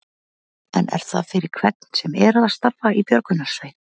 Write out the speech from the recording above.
En er það fyrir hvern sem er að starfa í björgunarsveit?